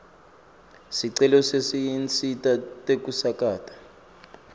sicelo setinsita tekusakata